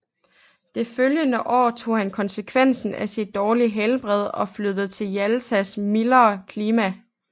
Det følgende år tog han konsekvensen af sit dårlige helbred og flyttede til Jaltas mildere klima